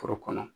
Foro kɔnɔ